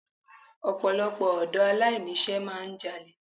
Ọ̀pọ̀lọpọ̀ ọ̀dọ́ aláìní iṣẹ́ máà ń jalè.